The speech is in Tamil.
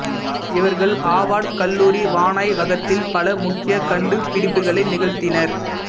இவர்கள் ஆவார்டு கல்லூரி வானாய்வகத்தில் பல முக்கிய கண்டுபிடிப்புக்களை நிகழ்த்தினர்